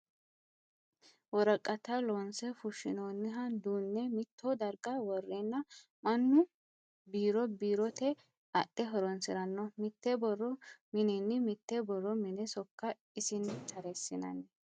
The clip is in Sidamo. Worqatta loonse fushinoniha duune mitto darga worenna mannu biiro biirote adhe horonsirano mite borro minini mite borro mine sokka isinni taresinanni.